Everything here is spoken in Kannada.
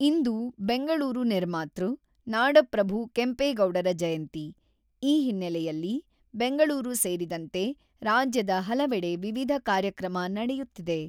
ಇಂದು ಬೆಂಗಳೂರು ನಿರ್ಮಾತೃ, ನಾಡಪ್ರಭು ಕೆಂಪೇಗೌಡರ ಜಯಂತಿ, ಈ ಹಿನ್ನೆಲೆಯಲ್ಲಿ ಬೆಂಗಳೂರು ಸೇರಿದಂತೆ ರಾಜ್ಯದ ಹಲವೆಡೆ ವಿವಿಧ ಕಾರ್ಯಕ್ರಮ ನಡೆಯುತ್ತಿದೆ.